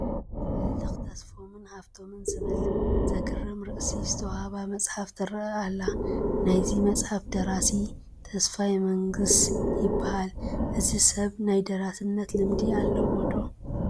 ህልኽ ተስፎምን ሃፍቶምን ዝብል ዘግርም ርእሲ ዝተዋህባ መፅሓፍ ትርአ ኣላ፡፡ ናይዛ መፅሓፍ ደራሲ ተስፋይ መንግስ ይበሃል፡፡ እዚ ሰብ ናይ ደራሲነት ልምዲ ኣለዎ ዶ?